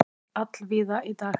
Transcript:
Birtir allvíða í dag